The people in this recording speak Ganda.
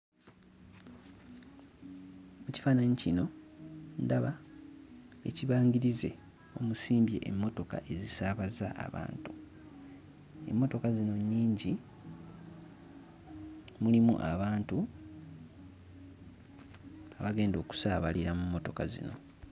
Mu kifaananyi kino ndaba ekibangirize omusimbye emmotoka ezisaabaza abantu, emmotoka zino nnyingi mulimu abantu abagenda okusaabalira mu mmotoka zino.